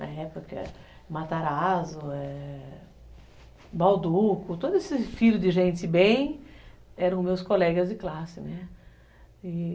Na época, Matarazzo, Bauducco, todo esse filho de gente bem, eram meus colegas de classe, né? E